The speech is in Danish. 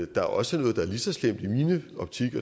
der er også noget der er lige så slemt i min optik